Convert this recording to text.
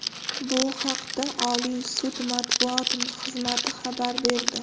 Bu haqda Oliy sud matbuot xizmati xabar berdi.